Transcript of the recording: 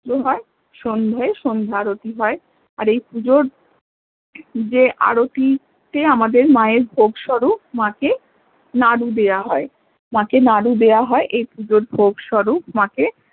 আলে হয় সন্ধে সন্ধ্যা আরতি হয় আর এই পুজোর যে আরোতি তে আমাদের মা এর ভোগস্বরূপ মা কে নাড়ু দেয়া হয় মা কে নাড়ু দেয়া হয় এই পুজোর ভোগসুরুপ মা কে